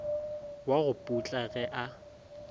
wa go putla ge a